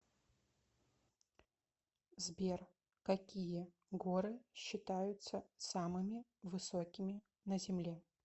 сбер какие горы считаются самыми высокими на земле